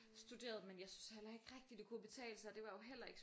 Studerede men jeg syntes heller ikke rigtig at det kunne betale sig det var jo heller ikke